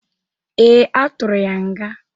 Ee, a tụrụ ya nga.